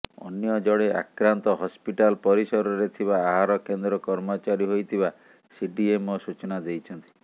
ଅନ୍ୟ ଜଣେ ଆକ୍ରାନ୍ତ ହସ୍ପିଟାଲ ପରିସରରେ ଥିବା ଆହାର କେନ୍ଦ୍ର କର୍ମଚାରୀ ହୋଇଥିବା ସିଡିଏମଓ ସୂଚନା ଦେଇଛନ୍ତି